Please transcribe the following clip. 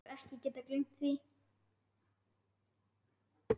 Hef ekki getað gleymt því.